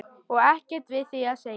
Og ekkert við því að segja.